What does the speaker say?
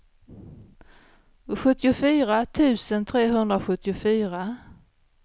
sjuttiofyra tusen trehundrasjuttiofyra